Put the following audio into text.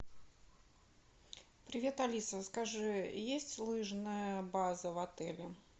привет алиса скажи есть лыжная база в отеле